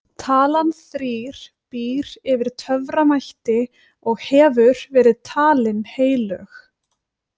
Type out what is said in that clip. Talan þrír býr yfir töframætti og hefur verið talin heilög.